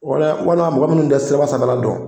Walima walima mɔgɔ minnu tɛ siraba sanfɛla dɔn